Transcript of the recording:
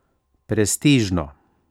Prestižno!